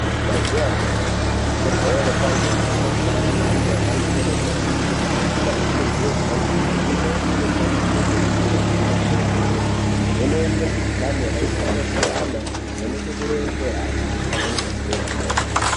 Mazuva anyamashe kuzvibhedhlera kwava nemichina yemhando yepadera dera, michina iyi ndeyesainzi, imweni inoshande kuringira ana adoodori, ichivheneke mukuhlani yakasiyana-siyana, ichivheneke kurova kwehana pamweni ngekupiwe mitombo.